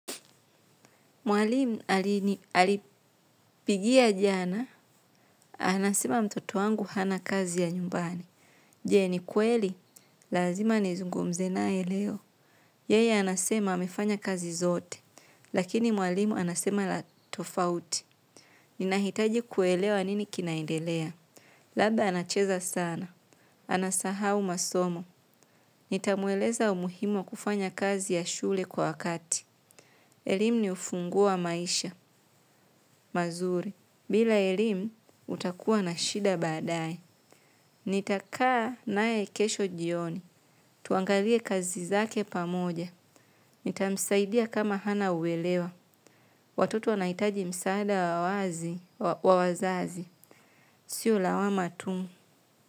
Mwalimu alipigia jana, anasema mtoto wangu hana kazi ya nyumbani. Jei ni kweli, lazima ni zungumze naye leo. Yeye anasema hamefanya kazi zote, lakini mwalimu anasema la tofauti. Ninahitaji kuelewa anini kinaindelea. Labda anacheza sana, anasahau masomo. Nitamueleza umuhimu wa kufanya kazi ya shule kwa kati. Elimu ni ufungua maisha, mazuri. Bila elimu, utakuwa na shida baadae. Nitakaa nae kesho jioni. Tuangalie kazi zake pamoja. Nitamsaidia kama hana uwelewa. Watoto wanaitaji msaada wa wazi, wa wazazi. Sio lawama tu.